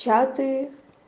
чаты